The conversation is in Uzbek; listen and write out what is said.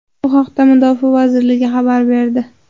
Bu haqda Mudofaa vazirligi xabar berdi .